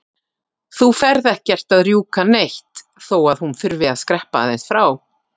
Þú ferð ekkert að rjúka neitt þó að hún þurfi að skreppa aðeins frá!